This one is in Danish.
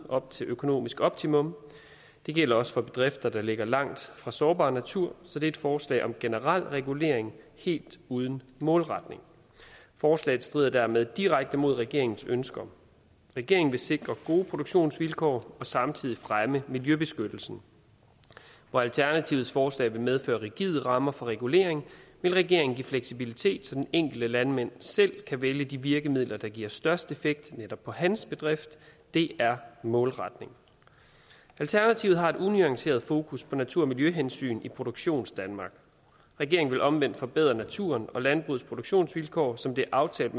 op til økonomisk optimum det gælder også for bedrifter der ligger langt fra sårbar natur så det er et forslag om generel regulering helt uden målretning forslaget strider dermed direkte mod regeringens ønsker regeringen vil sikre gode produktionsvilkår og samtidig fremme miljøbeskyttelsen hvor alternativets forslag vil medføre rigide rammer for regulering vil regeringen give fleksibilitet så den enkelte landmand selv kan vælge de virkemidler der giver størst effekt netop på hans bedrift det er målretning alternativet har et unuanceret fokus på natur og miljøhensyn i produktionsdanmark regeringen vil omvendt forbedre naturen og landbrugets produktionsvilkår som det er aftalt